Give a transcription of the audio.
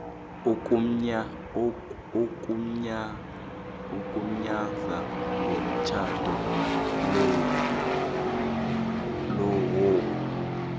ogunyaza umtjhado lowo